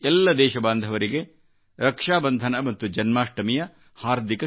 ಎಲ್ಲ ದೇಶಬಾಂಧವರಿಗೆರಕ್ಷಾಬಂಧನ ಮತ್ತು ಜನ್ಮಾಷ್ಟಮಿಯ ಹಾರ್ದಿಕ ಶುಭಾಶಯಗಳು